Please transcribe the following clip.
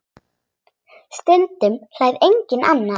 Stundum hlær enginn annar.